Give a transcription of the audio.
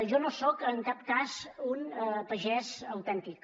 jo no soc en cap cas un pagès autèntic